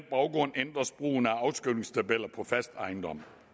baggrund ændres brugen af afskrivningstabeller på fast ejendom